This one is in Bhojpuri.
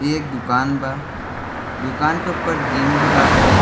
इ एक दुकान बा। दुकान के ऊपर जिम भी बाटे।